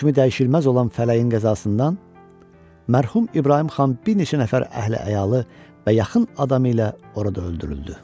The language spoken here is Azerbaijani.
Hökmü dəyişilməz olan fələyin qəzasından mərhum İbrahim xan bir neçə nəfər əhli əyalə və yaxın adamı ilə orada öldürüldü.